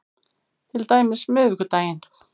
Til dæmis miðvikudaginn